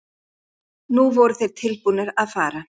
Nú voru þeir tilbúnir að fara.